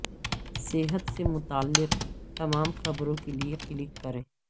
صحت سے متعلق تمام خبروں کے لئے کلک کریں